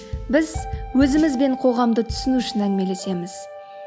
біз өзіміз бен қоғамды түсіну үшін әңгімелесеміз